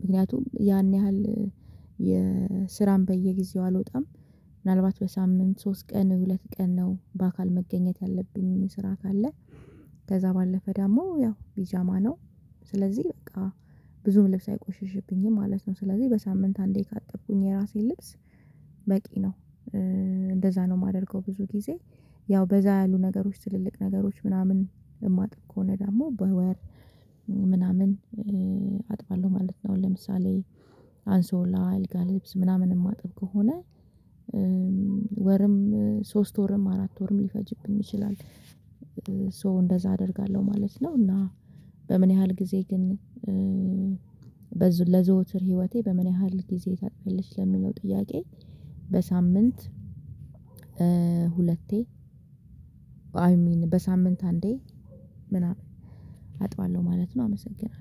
ምክንያቱም ያን ያህል የስራም በየጊዜው አልወጣም። ምናልባት በሳምንት ሶስት ቀን ሁለት ቀን ነው በአካል መገኘት ያለብኝ ስራ ካለ። ከዚያ ባለፈ ደግሞ ያው ቢጃማ ነው ስለዚህ በቃ ብዙም ልብስ አይቆሽሽብኝም ማለት ነው። ስለዚህ በሳምንት አንዴ ካጠብኩኝ የራሴን ልብስ በቂ ነው። እንደዚያ ነው ማደርገው ብዙ ጊዜ ያው በዛ ያሉ ነገሮች ትልልቅ ነገሮች ምናምን የማጥብ ከሆነ ደግሞ በወር ምናምን አጥባለሁ ማለት ነው። ለምሳሌ አንሶላ አልጋ ልብስ ምናምን የማጥብ ከሆነ። ወርም ሶስት ወርም አራት ወርም ሊፈጅብኝ ይችላል። ሶ እንደዛ አደርጋለሁ ማለት ነው። እና በምን ያህል ጊዜ ግን ለዘውትር ህይወቴ በምን ያህል ጊዜ ታጥቢያለሽ ለሚለው ጥያቄ በሳምንት ሁለቴ አይ ሚን በሳምንት አንዴ ምናምን አጥባለሁ ማለት ነው። አመሰግናለሁ